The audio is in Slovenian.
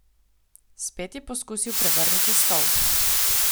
Spet je poskusil prevrniti stol.